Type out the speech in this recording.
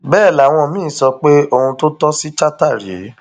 bẹẹ làwọn míín sọ pé ohun tó tọ sí chatta rèé